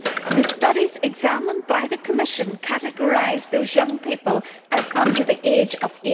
The studies examined by the Commission categorised those young people as under the age of